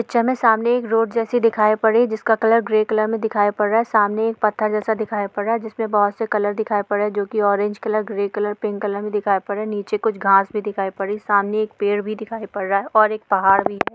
Picture में सामने एक रोड जैसे दिखाई पड़ रही है जिसका कलर ग्रे कलर में दिखाई पड़ रहा है सामने एक पत्थर जैसा दिखाई पड़ रहा है जिसमे बहुत से कलर दिखाई पड़ रहे है जो कि orange colour grey colour pink colour भी दिखाई पड़ रहे हैं नीचे कुछ घास भी दिखाई पड़ रही है सामने एक पेड़ भी दिखाई पड़ रहा है और एक पहाड़ भी है।